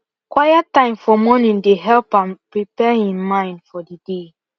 quiet time for morning dey help am prepare him mind for the day